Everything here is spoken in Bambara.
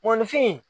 Mɔnifin